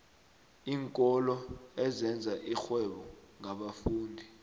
iinkolo ezenza irhwebo ngabafundi